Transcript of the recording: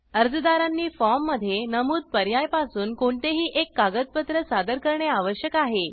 अर्जदारांनी form मध्ये नमुद पर्याय पासून कोणतेही एक कागदपत्र सादर करणे आवश्यक आहे